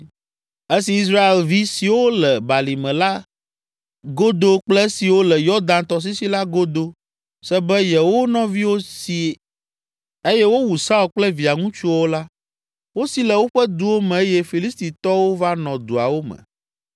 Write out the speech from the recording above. Esi Israelvi siwo le balime la godo kple esiwo le Yɔdan tɔsisi la godo se be yewo nɔviwo si eye wowu Saul kple via ŋutsuawo la, wosi le woƒe duwo me eye Filistitɔwo va nɔ duawo me.